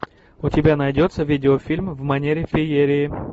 у тебя найдется видеофильм в манере феерии